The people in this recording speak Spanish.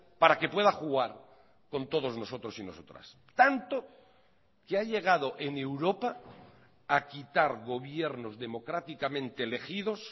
para que pueda jugar con todos nosotros y nosotras tanto que ha llegado en europa a quitar gobiernos democráticamente elegidos